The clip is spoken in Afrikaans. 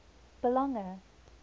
belange